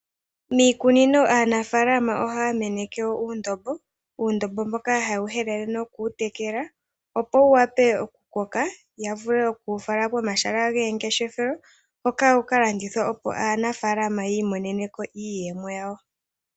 Miikunino aanafaalama ohaya meneke wo uundombo, uundombo mboka ha ye wu helele noku wu tekela, opo wu wape okukoka ya vule oku wu fala komahala geengeshefelo hoka wu ka landithwe opo aanafaalama yi i monene iiyemo ya wo.